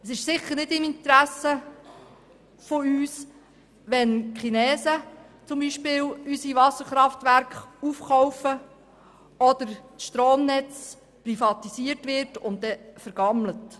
Es liegt sicher nicht in unserem Interesse, wenn beispielsweise die Chinesen unsere Wasserkraftwerke aufkaufen oder wenn das Stromnetz privatisiert wird und danach vergammelt.